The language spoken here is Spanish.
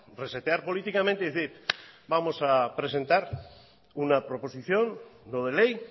resetear políticamente y decir vamos a presentar una proposición no de ley